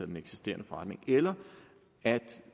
den eksisterende forretning eller at